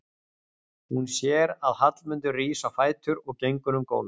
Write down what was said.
Hún sér að Hallmundur rís á fætur og gengur um gólf.